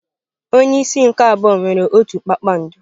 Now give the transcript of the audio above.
Onye isi nke abụọ nwere otu kpakpando.